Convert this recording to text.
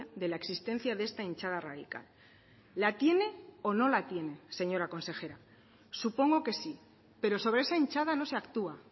de la existencia de esta hinchada radical la tiene o no la tiene señora consejera supongo que sí pero sobre esa hinchada no se actúa